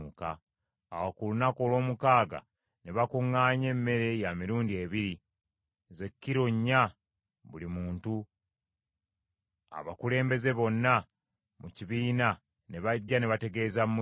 Awo ku lunaku olw’omukaaga ne bakuŋŋaanya emmere ya mirundi ebiri, ze kilo nnya buli muntu; abakulembeze bonna mu kibiina ne bajja ne bategeeza Musa.